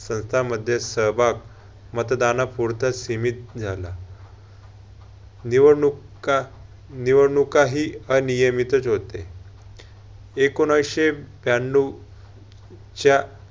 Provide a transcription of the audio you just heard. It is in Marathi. संस्था मध्ये सहभाग मतदानापुरत सीमित झाला. निवडणूकानिवडणूकाहि अनियमितच होते. एकोणऐंशी त्र्यानऊ च्या